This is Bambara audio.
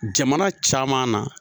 Jamana caman na